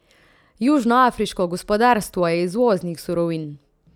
Južnoafriško gospodarstvo je izvoznik surovin.